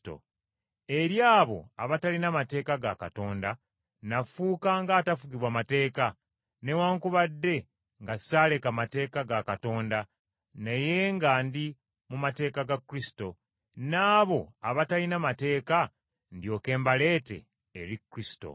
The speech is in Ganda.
Eri abo abatalina mateeka ga Katonda, nafuuka ng’atafugibwa mateeka, newaakubadde nga ssaaleka mateeka ga Katanda, naye nga ndi mu mateeka ga Kristo, n’abo abatalina mateeka ndyoke mbaleete eri Kristo.